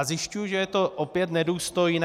A zjišťuji, že je to opět nedůstojné.